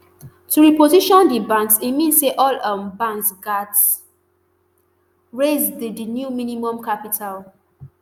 to reposition di banks e mean say all um banks gatz raise di di new minimum capital